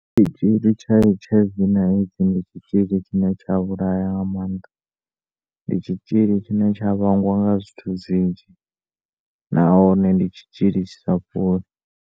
Tshitzhili tsha H_I_V na AIDS ndi tshitzhili tshine tsha vhulaya nga maanda ndi tshitzhili tshine tsha vhangwa nga zwithu zwinzhi nahone ndi tshitzhili tshisa fholi.